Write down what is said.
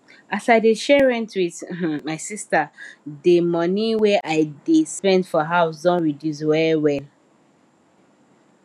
as i dey share rent with um my sister de monie wey i dey spend for house don reduce well well